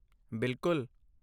ਬਿਲਕੁਲ।